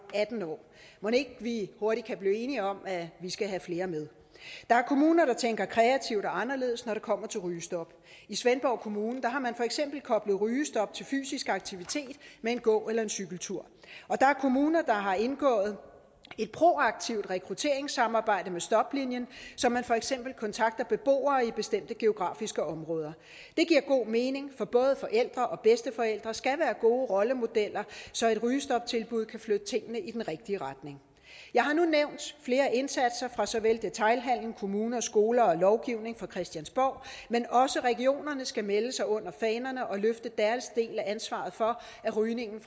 atten år mon ikke vi hurtigt kan blive enige om at vi skal have flere med der er kommuner der tænker kreativt og anderledes når det kommer til rygestop i svendborg kommune har man for eksempel koblet rygestop til fysisk aktivitet med en gå eller en cykeltur og der er kommuner der har indgået et proaktivt rekrutteringssamarbejde med stoplinjen så man for eksempel kontakter beboere i bestemte geografiske områder det giver god mening for både forældre og bedsteforældre skal være gode rollemodeller så et rygestoptilbud kan flytte tingene i den rigtige retning jeg har nu nævnt flere indsatser fra såvel detailhandel kommuner skoler og lovgivning på christiansborg men også regionerne skal melde sig under fanerne og løfte deres del af ansvaret for at rygning